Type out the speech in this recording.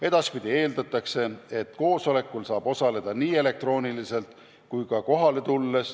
Edaspidi eeldatakse, et koosolekul saab osaleda nii elektrooniliselt kui ka kohale tulles.